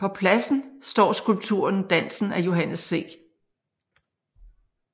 På pladsen står skulpturen Dansen af Johannes C